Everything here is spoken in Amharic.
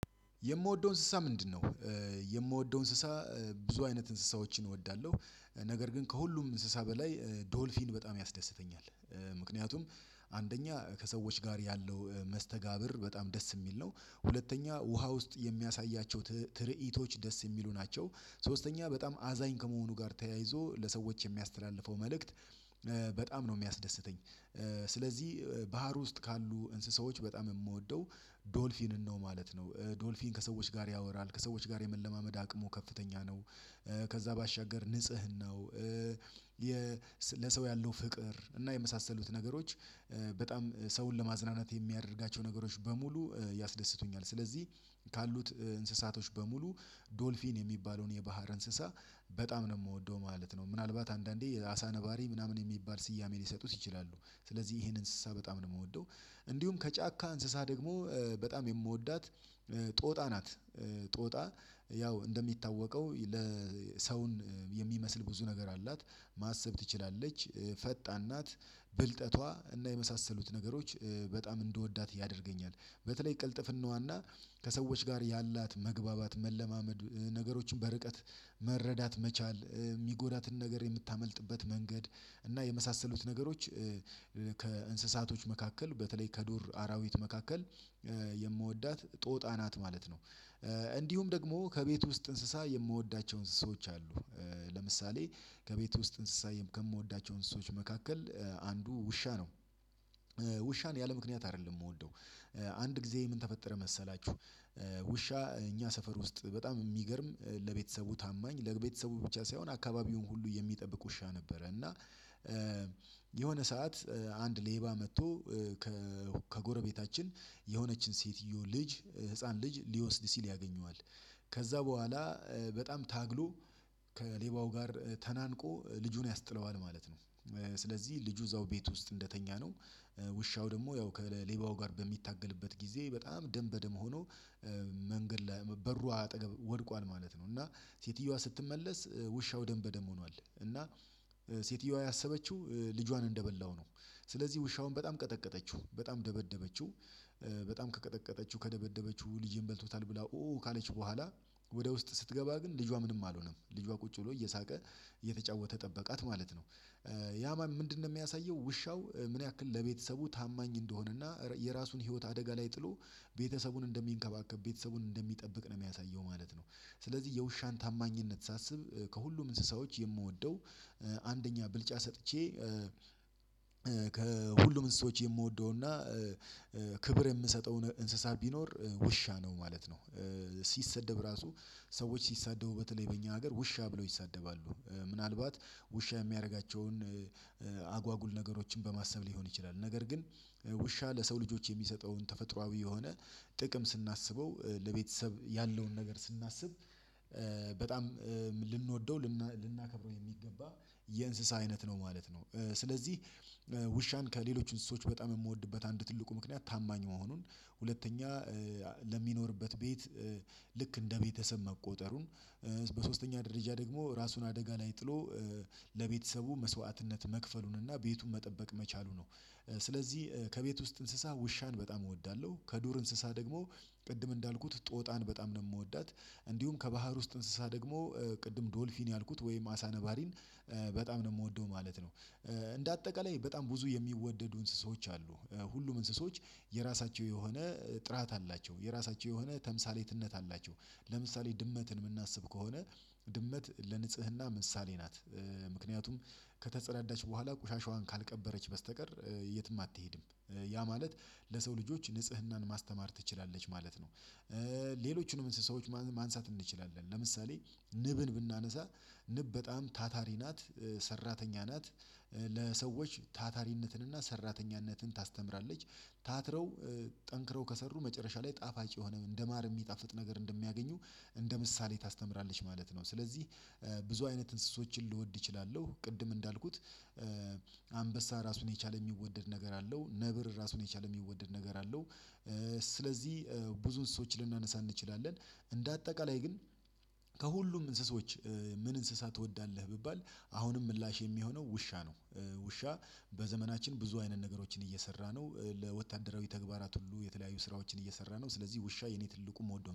የምወደው እንስሳ ምንድነው? የምወደው እንስሳ ብዙ አይነት እንስሳዎችን እወዳለሁ። ነገር ግን ከሁሉም እንስሳ በላይ ዶልፊን በጣም ያስደስተኛል። ምክንያቱም አንደኛ ከሰዎች ጋር ያለው መስተጋብር በጣም ደስ የሚል ነው። ሁለተኛ ውሃ ውስጥ የሚያሳያቸው ትርኢቶች ደስ የሚሉ ናቸው። ሶስተኛ በጣም አዛኝ ከመሆኑ ጋር ተያይዞ ለሰዎች የሚያስተላልፈው መልእክት በጣም ነው የሚያስደስተኝ። ስለዚህ ባህር ውስጥ ካሉ እንስሳዎች በጣም የምወደው ዶልፊን ነው ማለት ነው። ዶልፊን ከሰዎች ጋር ያወራል ከሰዎች ጋር የመለማመድ አቅሙ ከፍተኛ ነው። ከዛ ባሻገር ንጽህናው የ ለሰው ያለው ፍቅር እና የመሳሰሉት ነገሮች በጣም ሰውን ለማዝናናት የሚያደርጋቸው ነገሮች በሙሉ ያስደስቱኛል። ስለዚህ ካሉት እንስሳቶች በሙሉ ዶልፊን የሚባለውን የባህር እንስሳ በጣም ነው የምወደው ማለት ነው። ምናልባት አንዳንዴ የአሳ ነባሪ ምናምን የሚባል ስያሜ ሊሰጡት ይችላሉ ስለዚህ ይሄንን እንስሳ በጣም ነው የምወደው። እንዲሁም ከጫካ እንስሳ ደግሞ በጣም የምወዳት ጦጣ ናት። ጦጣ ያው እንደሚታወቀው ለሰውን የሚመስል ብዙ ነገር አላት ማሰብ ትችላለች ፈጣን ናት ብልጠቷ እና የመሳሰሉት ነገሮች በጣም እንድወዳት ያደርገኛል። በተለይ ቅልጥፍናዋና ከሰዎች ጋር ያላት መግባባት መለማመድ ነገሮችን በርቀት መረዳት መቻል የሚጎዳትን ነገር የምታመልጥበት መንገድ እና የመሳሰሉት ነገሮች። ከእንስሳቶች መካከል በተለይ ከዱር አራዊት መካከል የምወዳት ጦጣ ናት ማለት ነው። እንዲሁም ደግሞ ከቤት ውስጥ እንስሳ የምወዳቸውን እንስሶች አሉ። ለምሳሌ ከቤት ውስጥ እንስሳ ከምወዳቸው እንስሳዎች መካከል አንዱ ውሻ ነው። ውሻን ያለምክንያት አይደለም የምወደው። አንድ ጊዜ ምን ተፈጥረህ መሰላችሁ? ውሻ እኛ ሰፈር ውስጥ በጣም የሚገርም ለቤተሰቡ ታማኝ ለቤተሰቡ ብቻ ሳይሆን አካባቢውን ሁሉ የሚጠብቅ ውሻ ነበረ እና። ሰዓት አንድ ሌባ መጥቶ ከጎረቤታችን የሆነችን ሴትዮ ልጅ ህፃን ልጅ ሊወስድ ሲል ያገኘዋል። ከዛ በኋላ በጣም ታግሎ ከሌባው ጋር ተናንቆ ልጁን ያስጥለዋል ማለት ነው። ስለዚህ ልጁ እዛው ቤት ውስጥ እንደተኛ ነው። ውሻው ደግሞ ያው ከሌባው ጋር በሚታገልበት ጊዜ በጣም ደም በደም ሆኖ መንገድ ላይ በሩ አጠገብ ወድቋል ማለት ነው። እና ሴትየዋ ስትመለስ ውሻው ደም በደም ሆኗል እና። ሴትየዋ ያሰበችው ልጇን እንደበላው ነው። ስለዚህ ውሻውን በጣም ቀጠቀጠችው በጣም ደበደበችው። በጣም ከቀጠቀጠችው ከደበደበችው ልጄን በልቶታል ብላ ኡ ኡ ካለች በኋላ ወደ ውስጥ ስትገባ ግን ልጇ ምንም አልሆነም ልጇ ቁጭ ብሎ እየሳቀ እየተጫወተ ጠበቃት ማለት ነው። ያ ምንድነው? የሚያሳየው ውሻው ምን ያክል ለቤተሰቡ ታማኝ እንደሆነና የራሱን ህይወት አደጋ ላይ ጥሎ ቤተሰቡን እንደሚንከባከብ ቤተሰቡን እንደሚጠብቅ ነው የሚያሳየው ማለት ነው። ስለዚህ የውሻን ታማኝነት ሳስብ ከሁሉም እንስሳዎች የምወደው አንደኛ ብልጫ ሰጥቼ ከሁሉም እንስሶች የምወደውና ክብር የምሰጠው እንስሳ ቢኖር ውሻ ነው ማለት ነው። ሲሰደብ ራሱ ሰዎች ሲሳደቡ በተለይ በእኛ ሀገር ውሻ ብለው ይሰደባሉ። ምናልባት ውሻ የሚያደርጋቸውን አጓጉል ነገሮችን በማሰብ ሊሆን ይችላል ነገር ግን ውሻ ለሰው ልጆች የሚሰጠውን ተፈጥሮአዊ የሆነ ጥቅም ስናስበው ለቤተሰብ ያለውን ነገር ስናስብ በጣም ልንወደው ልናከብረው የሚገባ የእንስሳ አይነት ነው ማለት ነው። ስለዚህ ውሻን ከሌሎች እንስሳዎች በጣም የምወድበት አንድ ትልቁ ምክንያት ታማኝ መሆኑን ሁለተኛ ለሚኖርበት ቤት ልክ እንደ ቤተሰብ መቆጠሩን ደረጃ ደግሞ ራሱን አደጋ ላይ ጥሎ ለቤተሰቡ መስዋዕትነት መክፈሉን እና ቤቱን መጠበቅ መቻሉ ነው። ስለዚህ ከቤት ውስጥ እንስሳ ውሻን በጣም እወዳለሁ። ከዱር እንስሳ ደግሞ ቅድም እንዳልኩት ጦጣን በጣም ነው የምወዳት። እንዲሁም ከባህር ውስጥ እንስሳ ደግሞ ቅድም ዶልፊን ያልኩት ወይም አሳ ነባሪን በጣም ነው የምወደው ማለት ነው። እንደ አጠቃላይ በጣም ብዙ የሚወደዱ እንስሳዎች አሉ። ሁሉም እንስሳዎች የራሳቸው የሆነ ጥራት አላቸው የራሳቸው የሆነ ተምሳሌትነት አላቸው። ለምሳሌ ድመትን የምናስብ ከሆነ ድመት ለንጽህና ምሳሌ ናት። ምክንያቱም ከተጸረዳች በኋላ ቁሻሻዋን ካልቀበረች በስተቀር የትም አትሄድም። ያ ማለት ለሰው ልጆች ንጽህናን ማስተማር ትችላለች ማለት ነው። ሌሎችንም እንስሳዎች ማንሳት እንችላለን ለምሳሌ ንብን ብናነሳ ንብ በጣም ታታሪ ናት ሰራተኛ ናት ለሰዎች ታታሪነትን እና ሰራተኛነትን ታስተምራለች። ታትረው ጠንክረው ከሰሩ መጨረሻ ላይ ጣፋጭ የሆነ እንደማር የሚጣፍጥ ነገር እንደሚያገኙ እንደ ምሳሌ ታስተምራለች ማለት ነው። ስለዚህ ብዙ አይነት እንስሶችን ልወድ እችላለሁ ቅድም እንዳልኩት። አንበሳ ራሱን የቻለ የሚወደድ ነገር አለው ነብር ራሱን የቻለ የሚወደድ ነገር አለው። ስለዚህ ብዙ እንስሶችን ልናነሳ እንችላለን። እንደ አጠቃላይ ግን ከሁሉም እንስሶች ምን እንስሳ ትወዳለህ ብባል? አሁንም ምላሽ የሚሆነው ውሻ ነው። ውሻ በዘመናችን ብዙ አይነት ነገሮችን እየሰራ ነው ለወታደራዊ ተግባራት ሁሉ የተለያዩ ስራዎችን እየሰራ ነው። ስለዚህ ውሻ የኔ ትልቁ መውደድ